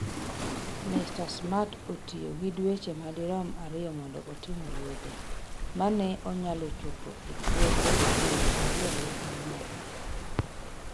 Mr Smart notiyo gi dweche madirom ariyo mondo otim wuodhe, ma ne onyalo chopo e puothe piero ariyo gi ang’wen.